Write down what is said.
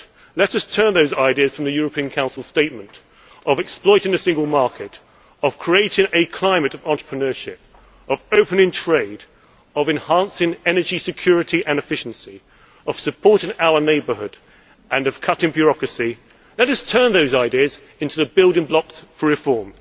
Let us turn those ideas from the European Council statement of exploiting the single market, of creating a climate of entrepreneurship, of opening trade, of enhancing energy security and efficiency, of supporting our neighbourhood and of cutting bureaucracy let us turn those ideas into the building blocks for reform.